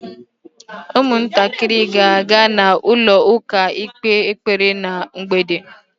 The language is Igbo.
Ụmụntakịrị ga-aga na ụlọ ụka ikpe ekpere ná mgbede.